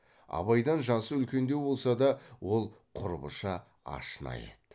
абайдан жасы үлкендеу болса да ол құрбыша ашна еді